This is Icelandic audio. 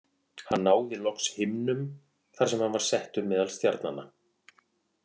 Hann náði loks himnum þar sem hann var settur meðal stjarnanna.